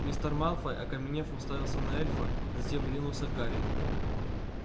мистер малфой окаменев уставился на эльфа затем ринулся к гарри